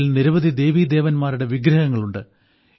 അതിൽ നിരവധി ദേവീദേവന്മാരുടെ വിഗ്രഹങ്ങളുണ്ട്